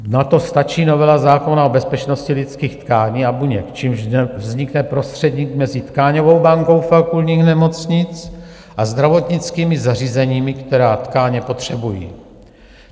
Na to stačí novela zákona o bezpečnosti lidských tkání a buněk, čímž vznikne prostředník mezi tkáňovou bankou fakultních nemocnic a zdravotnickými zařízeními, která tkáně potřebují.